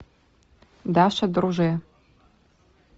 даша друже